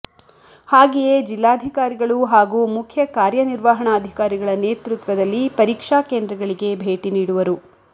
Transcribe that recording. ಹಾಗೆಯೇ ಜಿಲ್ಲಾಧಿಕಾರಿಗಳು ಹಾಗೂ ಮುಖ್ಯ ಕಾರ್ಯನಿರ್ವಹಣಾಧಿಕಾರಿಗಳ ನೇತೃತ್ವದಲ್ಲಿ ಪರೀಕ್ಷಾ ಕೇಂದ್ರಗಳಿಗೆ ಭೇಟಿ ನೀಡುವರು